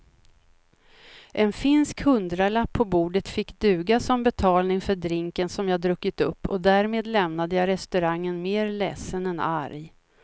En finsk hundralapp på bordet fick duga som betalning för drinken som jag druckit upp och därmed lämnade jag restaurangen mer ledsen än arg.